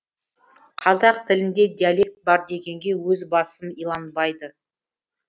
қазақ тілінде диалект бар дегенге өз басым иланбайды